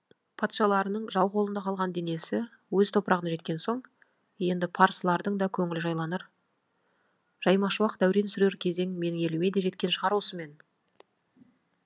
патшаларының жау қолында қалған денесі өз топырағына жеткен соң енді парсылардың да көңілі жайланар жаймашуақ дәурен сүрер кезең менің еліме де жеткен шығар осымен